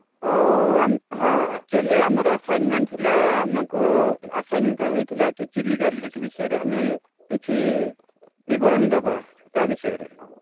ଆଉ ହଁ Actually ଆମ ର assignment ଥିଲା ଆମ କୁ ଆସାନିତ ହେଇ ଥିଲା କି ଚିଲିକା lake ବିଷୟ ରେ ଆମେ କିଛି ବିବରଣୀ ଦେବା, ତା ବିଷୟରେ